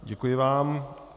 Děkuji vám.